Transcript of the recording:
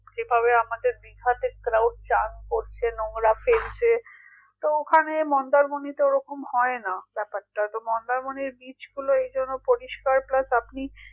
যেভাবে আমাদের দীঘাতে crowd চান করছে নোংরাতেই যে তো ওখানে মন্দারমণিতে ওরকম হয় না ব্যাপারটা তো মন্দারমণির beach গুলো এজন্য পরিষ্কার plus আপনি